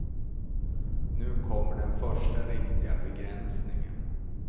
Nu kommer den första riktiga begränsningen.